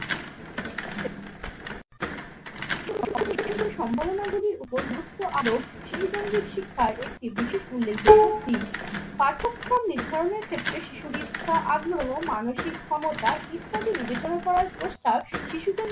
সম্ভাবনা গুলির উপর গুরুত্ব আরোপ শিশুকেন্দ্রিক শিক্ষার একটি বিশেষ উল্লেখযোগ্য দিক। পার্থক্ষম নির্ধারণের ক্ষেত্রে শিশুর ইচ্ছা আগ্রহ মানসিক ক্ষমতা ইত্যাদি বিবেচনা করার প্রস্তাব শিশু কেন্দ্রিক